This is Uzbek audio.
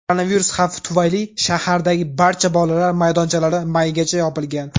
Koronavirus xavfi tufayli shahardagi barcha bolalar maydonchalari maygacha yopilgan.